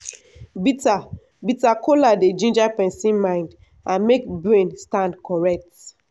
bitter bitter kola dey ginger person mind and make brain stand correct.